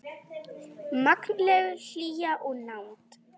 Mannleg hlýja og nánd.